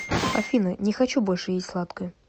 афина не хочу больше есть сладкое